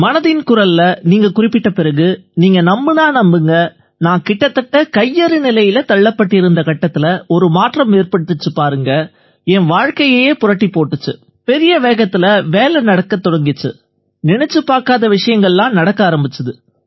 மனதின் குரல்ல நீங்க குறிப்பிட்ட பிறகு நீங்க நம்பினா நம்புங்க நான் கிட்டத்தட்ட கையறு நிலையில தள்ளப்பட்டிருந்த கட்டத்தில ஒரு மாற்றம் ஏற்பட்டுச்சு பாருங்க என் வாழ்க்கையையே புரட்டிப் போட்டுச்சு பெரிய வேகத்தில வேலை நடக்கத் தொடங்கிச்சு நினைச்சுப் பார்க்காத விஷயங்கள்லாம் நடக்க ஆரம்பிச்சுது